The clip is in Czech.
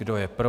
Kdo je pro?